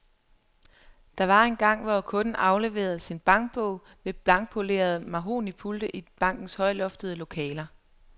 Der var engang, hvor kunden afleverede sin bankbog ved blankpolerede mahognipulte i bankernes højloftede lokaler.